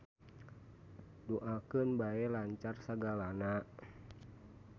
Duakeun bae lancar sagalana.